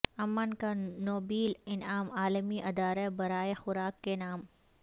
امن کا نوبیل انعام عالمی ادارہ برائے خوراک کے نام